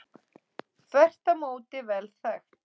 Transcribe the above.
Þvert á móti vel þekkt.